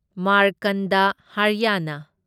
ꯃꯥꯔꯀꯟꯗ ꯍꯔꯌꯥꯅꯥ